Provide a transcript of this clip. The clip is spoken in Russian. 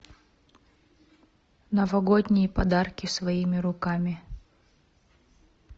новогодние подарки своими руками